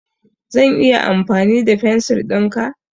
Zan iya amfani da fensir ɗinka?